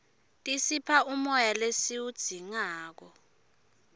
tisipha umoya lesiwudzingako